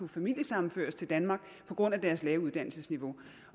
familiesammenført i danmark på grund af deres lave uddannelsesniveau